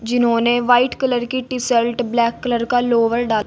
जिन्होंने white colour की T shirt black colour का लोअर डाला--